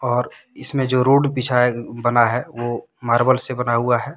और इसमें जो रोड बिछाए बना है वह मार्बल से बना हुआ है।